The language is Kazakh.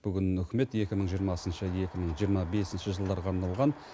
бүгін үкімет екі мың жиырмасыншы екі мың жиырма бесінші жылдарға арналған